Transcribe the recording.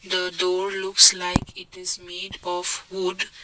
the door looks ike it is made of wood.